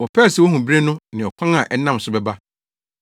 Wɔpɛɛ sɛ wohu bere no ne ɔkwan a ɛnam so bɛba.